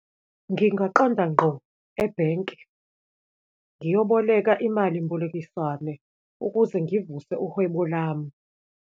Ngingaqonda ngqo ebhenki ngiyoboleka imali mbolekiswane ukuze ngivuse uhwebo lami.